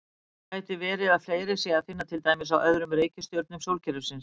Gæti verið að fleiri sé að finna til dæmis á öðrum reikistjörnum sólkerfisins?